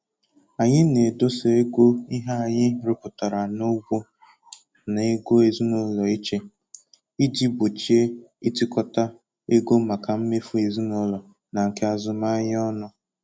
Anyị na-edosa ego ihe anyị rụpụtara n'ugbo na ego ezinụlọ iche iji gbochie itikọta ego maka mmefu ezinụlọ na nke azụmahịa ọnụ